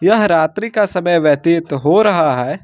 यह रात्रि का समय व्यतीत हो रहा है।